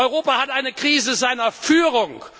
Europa hat eine Krise seiner Führung.